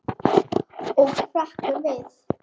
Og hrekkur við.